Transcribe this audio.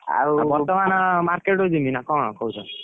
ଆଉ ବର୍ତମାନ market କୁ ଯିବି ନା କଣ କହୁଛ?